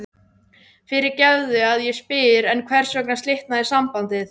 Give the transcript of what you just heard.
Fyrirgefðu að ég spyr en hvers vegna slitnaði sambandið?